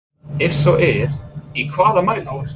Ef svo er í hvaða mæli?